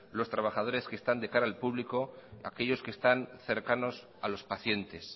los trabajadores de están de cara al público aquellos que están cercanos a los pacientes